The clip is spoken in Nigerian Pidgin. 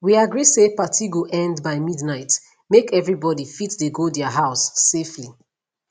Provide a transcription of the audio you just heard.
we agree say party go end by midnight make everybody fit dey go their house safely